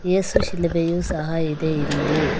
ಏಸು ಶಿಲುಭೆಯು ಸಹ ಇದೆ ಇಲ್ಲಿ.